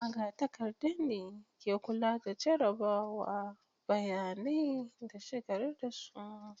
Magatakarda ne ke kula da jarrabawa, bayanai, da shigar da su.